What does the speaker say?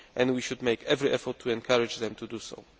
we should make every effort to encourage them to do so.